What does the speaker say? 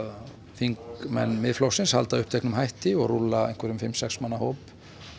þingmenn Miðflokksins halda uppteknum hætti og rúlla einhverjum fimm sex manna hóp